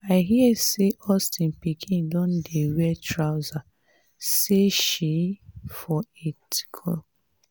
i hear say austin pikin don dey wear trouser say shesee a for tiktok.